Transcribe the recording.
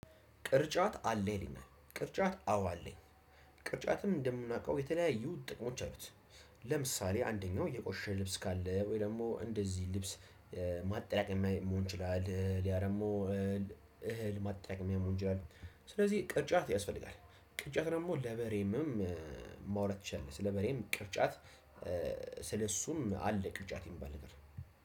ቅርጫት አለ ይልኛል ቅርጫት አዎ አለኝ ቅርጫትም እንደምናውቀው የተለያዩ ጥቅሞች አሉት። ለምሳሌ አንደኛው የቆሸሸ ልብስ ካለ ወይ ደግሞ እንደዚህ ልብስ ማጠራቀሚያ መሆን ይችላል። ሌላ ደግሞ እህል ማጣራቀሚያ መሆን ይቺላል። ስለዚህ ቅርጫት ያስፈልጋል። ቅርጫት ደግሞ ለበሬም ማውራት እችላለሁ ስለበሬም ቅርጫት። ስለእሱም አለ ቅርጫት የሚባል ነገር